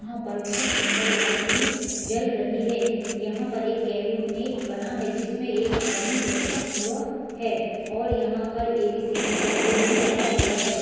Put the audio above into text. यहां पर बोहोत सुंदर लाइट भी जल रही है। यहां पर एक कैबिनेट बना है। जिसमें एक आदमी बैठा हुआ है और यहां पर एबीसीडी का बोर्ड भी लगा हुआ है।